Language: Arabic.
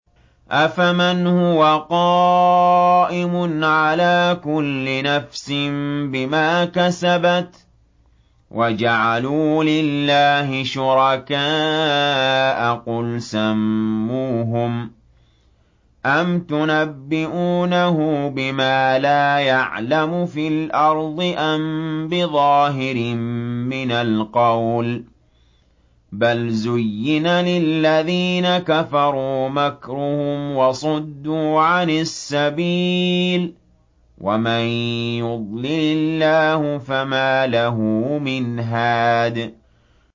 أَفَمَنْ هُوَ قَائِمٌ عَلَىٰ كُلِّ نَفْسٍ بِمَا كَسَبَتْ ۗ وَجَعَلُوا لِلَّهِ شُرَكَاءَ قُلْ سَمُّوهُمْ ۚ أَمْ تُنَبِّئُونَهُ بِمَا لَا يَعْلَمُ فِي الْأَرْضِ أَم بِظَاهِرٍ مِّنَ الْقَوْلِ ۗ بَلْ زُيِّنَ لِلَّذِينَ كَفَرُوا مَكْرُهُمْ وَصُدُّوا عَنِ السَّبِيلِ ۗ وَمَن يُضْلِلِ اللَّهُ فَمَا لَهُ مِنْ هَادٍ